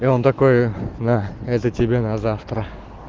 он такой да это тебе на завтра